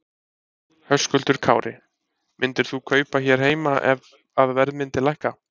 Höskuldur Kári: Myndir þú kaupa hér heima ef að verð myndi lækka?